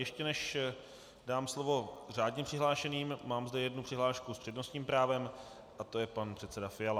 Ještě než dám slovo řádně přihlášeným, mám zde jednu přihlášku s přednostním právem a to je pan předseda Fiala.